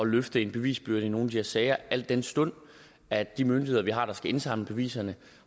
løfte en bevisbyrde i nogle her sager al den stund at de myndigheder vi har der skal indsamle beviserne